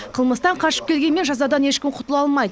қылмыстан қашып келгенмен жазадан ешкім құтыла алмайды